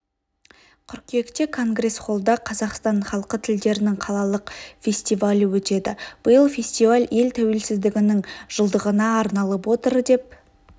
қыркүйекте конгресс-холлда қазақстан халқы тілдерінің қалалық фестивалі өтеді биыл фестиваль ел тәуелсіздігінің жылдығына арналып отыр деп